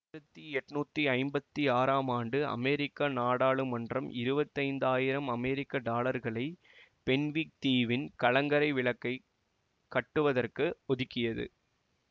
ஆயிரத்தி எட்ணூத்தி ஐம்பத்தி ஆறாம் ஆண்டு அமெரிக்க நாடாளுமன்றம் இருவத்தி ஐந்தாயிரம் அமெரிக்க டாலர்களை பென்விக் தீவின் கலங்கரை விளக்கை கட்டுவதற்கு ஒதுக்கியது